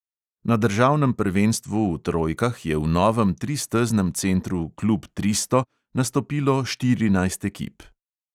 Na državnem prvenstvu v trojkah je v novem tristeznem centru klub tristo nastopilo štirinajst ekip.